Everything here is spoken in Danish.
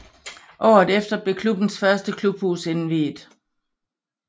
Året efter blev klubbens første klubhus indviet